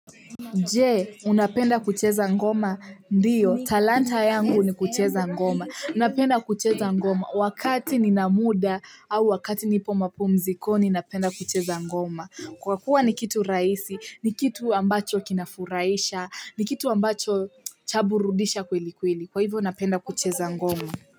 Je unapenda kucheza ngoma ndio talanta yangu ni kucheza ngoma napenda kucheza ngoma wakati nina muda au wakati nipo mapumzikoni napenda kucheza ngoma kwa kuwa ni kitu rahisi ni kitu ambacho kinafurahisha ni kitu ambacho chaburudisha kwelikweli kwa hivyo napenda kucheza ngoma.